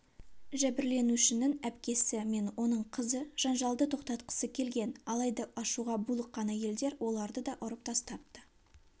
жәбірленушінің әпкесі мен оның қызы жанжалды тоқтатқысы келген алайда ашуға булыққан әйелдер оларды да ұрып тастапты